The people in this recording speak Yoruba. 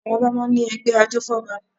Àwọn Ọba máa ń ní ẹgbẹ́ ajófọ́ba